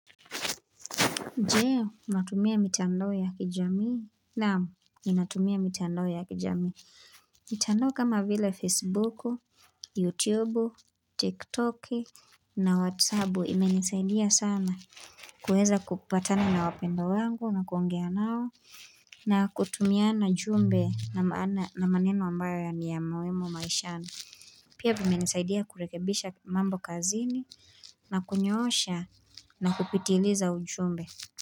Je, unatumia mitandao ya kijamii. Naam, ninatumia mitandao ya kijamii. Mitandao kama vile Facebuku, YouTubu, TikToki na WhatsApu imenisaidia sana. Kuweza kupatana na wapendwa wangu na kuongea nao. Na kutumiana jumbe na maneno ambayo ya niyamuhimu maishani. Pia vimenisaidia kurekebisha mambo kazini na kunyoosha na kupitiliza ujumbe.